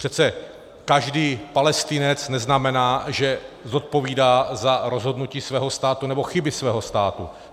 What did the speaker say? Přece každý Palestinec neznamená, že zodpovídá za rozhodnutí svého státu nebo chyby svého státu.